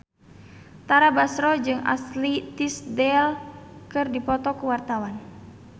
Tara Basro jeung Ashley Tisdale keur dipoto ku wartawan